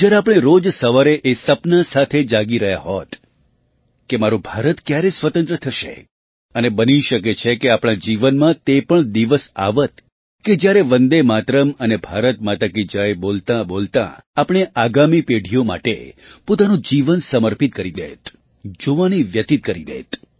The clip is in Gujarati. જ્યારે આપણે રોજ સવારે એ સપના સાથે જાગી રહ્યા હોત કે મારું ભારત ક્યારે સ્વતંત્ર થશે અને બની શકે કે આપણા જીવનમાં તે પણ દિવસ આવત કે જ્યારે વંદેમાતરમ્ અને ભારત માતા કી જય બોલતાંબોલતાં આપણે આગામી પેઢીઓ માટે પોતાનું જીવન સમર્પિત કરી દેત જુવાની વ્યતિત કરી દેત